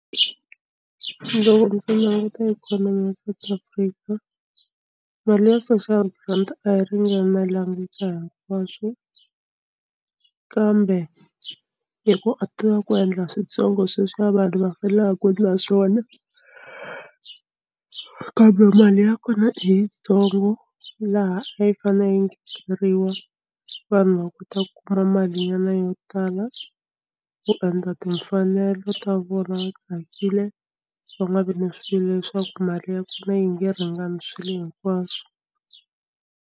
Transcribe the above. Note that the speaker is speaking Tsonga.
Loko ndzi languta ikhonomi ya South Africa mali ya social grant a yi ringananelanga ka hinkwaswo kambe i ku a tiva ku endla switsongo sweswi vanhu va fanela ku endla swona kambe mali ya kona i yitsongo laha a yi fanele yi ngeteriwa vanhu va kota ku kuma malinyana yo tala ku endla timfanelo ta vona va tsakile va nga vi na swilo leswaku mali ya kona yi nge ringani swilo hinkwaswo.